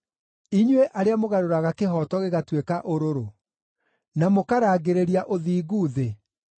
Inyuĩ arĩa mũgarũraga kĩhooto gĩgatuĩka ũrũrũ, na mũkarangĩrĩria ũthingu thĩ